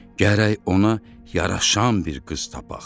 Gərək ona yaraşan bir qız tapaq.